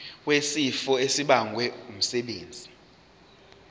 wesifo esibagwe ngumsebenzi